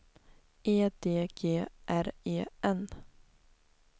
E D G R E N